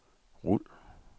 rul